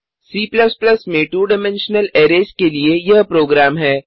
C में 2 dimensional arrays के लिए यह प्रोग्राम है